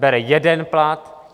Bere jeden plat.